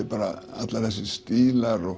allir þessir stílar og